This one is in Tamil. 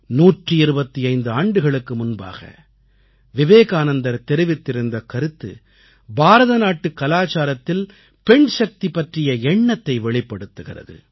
125 ஆண்டுகளுக்கு முன்பாக விவேகானந்தர் தெரிவித்திருந்த கருத்து பாரதநாட்டுக் கலாச்சாரத்தில் பெண் சக்தி பற்றிய எண்ணத்தை வெளிப்படுத்துகிறது